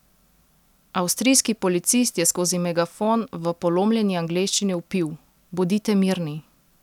Avstrijski policist je skozi megafon v polomljeni angleščini vpil: 'Bodite mirni!